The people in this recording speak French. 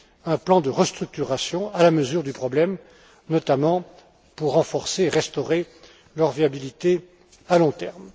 un plan de restructuration à la mesure du problème, notamment pour renforcer et restaurer leur viabilité à long terme.